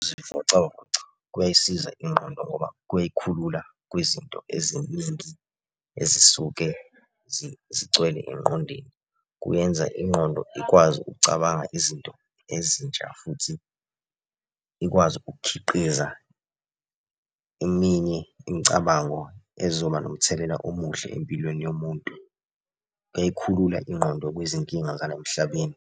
Ukuzivocavoca kuyayisiza ingqondo ngoba kuyayikhulula kwizinto eziningi ezisuke zigcwele engqondweni. Kuyenza ingqondo ikwazi ukucabanga izinto ezintsha futhi ikwazi ukukhiqiza eminye imicabango ezoba nomthelela omuhle empilweni yomuntu. Kuyayikhulula ingqondo kwizinkinga zala emhlabeni.